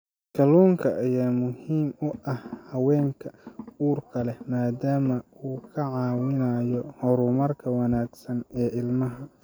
Kalluunka ayaa muhiim u ah haweenka uurka leh maadaama uu ka caawinayo horumarka wanaagsan ee ilmaha.